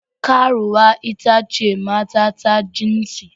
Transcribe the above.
Karuwa ita ce mata ta jinsi.